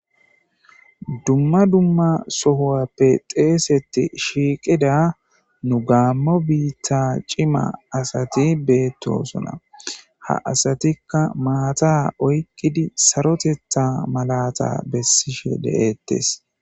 Dumma dumma sohuwape xeeseti shiiqida nu Gaammo biita cima asati bettoosona ha asatikka maata oyqqidi sarotetha malata bessishe de'ettees.